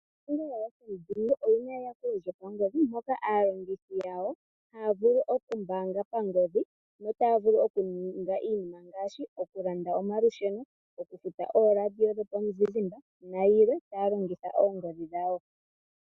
Ombaanga yoFNB oyina eyakulo lyopangodhi moka aalongithi yawo haya vulu okumbaanga pangodhi notaya vulu okuninga iinima ngaashi, okulanda omalusheno, okufuta ooRadio dhopamuzizimba nayilwe taya longitha oongodhi dhawo.